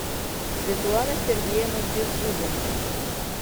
светлана сергеевна беззубенко